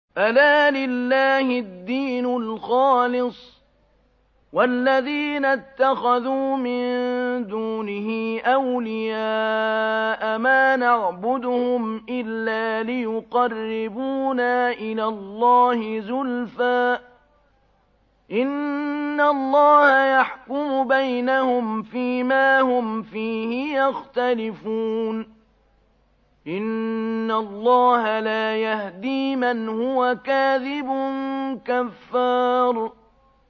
أَلَا لِلَّهِ الدِّينُ الْخَالِصُ ۚ وَالَّذِينَ اتَّخَذُوا مِن دُونِهِ أَوْلِيَاءَ مَا نَعْبُدُهُمْ إِلَّا لِيُقَرِّبُونَا إِلَى اللَّهِ زُلْفَىٰ إِنَّ اللَّهَ يَحْكُمُ بَيْنَهُمْ فِي مَا هُمْ فِيهِ يَخْتَلِفُونَ ۗ إِنَّ اللَّهَ لَا يَهْدِي مَنْ هُوَ كَاذِبٌ كَفَّارٌ